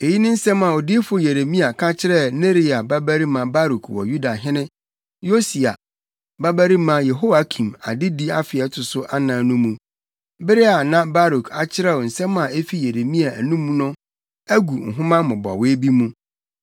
Eyi ne nsɛm a odiyifo Yeremia ka kyerɛɛ Neria babarima Baruk wɔ Yudahene Yosia babarima Yehoiakim adedi afe a ɛto so anan no mu, bere a na Baruk akyerɛw nsɛm a efi Yeremia anom no agu nhoma mmobɔwee bi mu.